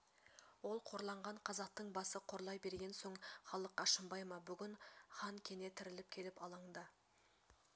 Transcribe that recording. ол қорланған қазақтың басы қорлай берген соң халық ашынбай ма бүгін хан кене тіріліп келіп алаңда